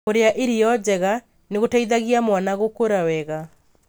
Kũrĩa irio njega nĩ gũteithagia mwana gũkũra wega.